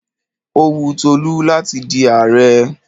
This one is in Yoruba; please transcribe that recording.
Ó wun Tolú láti di ààrẹ.